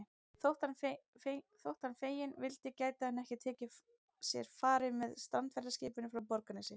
Þótt hann feginn vildi gæti hann ekki tekið sér fari með strandferðaskipinu frá Borgarnesi.